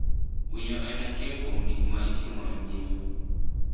Winyo en achiel kuom gik ma itimo e ngima.